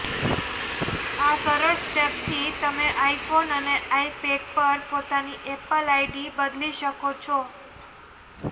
આ સરળ સ્ટેપ્સથી તમે આઈફોન અને આઈપેડ પર પોતાની એપલ આઈડી બદલી શકો છો